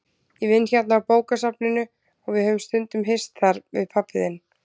Ég vinn hérna á bókasafninu og við höfum stundum hist þar, við pabbi þinn.